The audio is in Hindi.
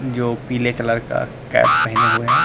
जो पीले कलर का कैप पहने हुए हैं।